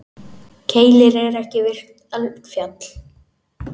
Keilir er ekki virkt eldfjall.